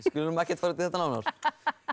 við skulum ekkert fara út í þetta nánar